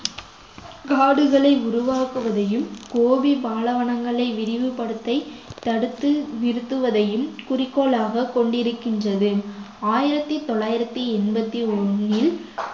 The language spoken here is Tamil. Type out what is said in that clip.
காடுகளை உருவாக்குவதையும் கோபி பாலைவனங்களை விரிவுபடுத்த தடுத்து நிறுத்துவதையும் குறிக்கோளாக கொண்டிருக்கின்றது ஆயிரத்தி தொள்ளாயிரத்தி எண்பத்தி ஒண்ணில்